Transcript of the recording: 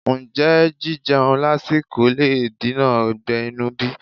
Ǹjẹ́ jíjeun lásìkò le dènà ọgbẹ́ inú bí?